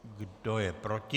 Kdo je proti?